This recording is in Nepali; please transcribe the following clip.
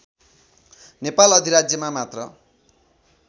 नेपाल अधिराज्यमा मात्र